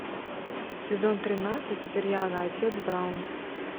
сезон тринадцать сериала отец браун